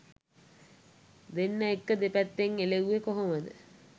දෙන්න එක්ක දෙපැත්තෙන් එළෙව්වෙ කොහොමද?